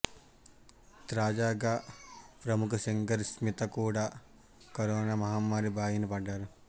తాజాగా ప్రముఖ సింగర్ స్మిత కూడా కరోనా మహమ్మారి బారిన పడ్డారు